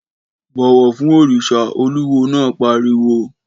Bọ̀wọ̀ fún òrìṣà, olúwo náà pariwo